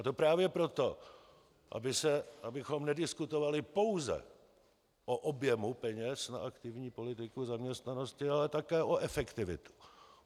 A to právě proto, abychom nediskutovali pouze o objemu peněz na aktivní politiku zaměstnanosti, ale také o efektivitě.